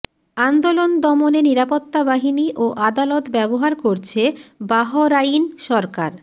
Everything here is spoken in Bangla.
আন্দোলন দমনে নিরাপত্তা বাহিনী ও আদালত ব্যবহার করছে বাহরাইন সরকার